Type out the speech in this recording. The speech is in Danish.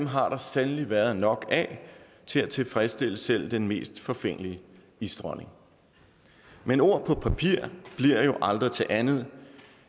har der sandelig været nok af til at tilfredsstille selv den mest forfængelige isdronning men ord på papir bliver jo aldrig til andet